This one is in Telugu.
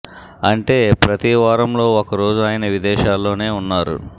అంటే ప్రతి వారంలో ఒక రోజు ఆయన విదేశా ల్లోనే ఉన్నారు